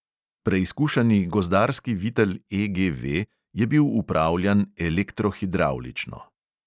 Preizkušani gozdarski vitel EGV je bil upravljan elektro-hidravlično.